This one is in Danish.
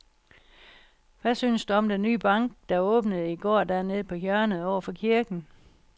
Hvad synes du om den nye bank, der åbnede i går dernede på hjørnet over for kirken?